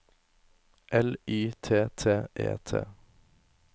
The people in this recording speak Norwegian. L Y T T E T